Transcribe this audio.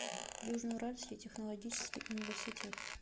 южно уральский технологический университет